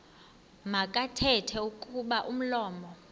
makathethe kuba umlomo